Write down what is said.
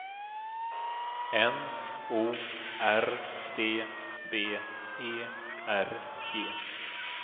N O R D B E R G